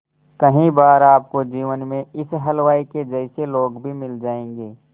कई बार आपको जीवन में इस हलवाई के जैसे लोग भी मिल जाएंगे